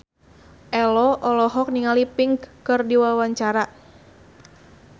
Ello olohok ningali Pink keur diwawancara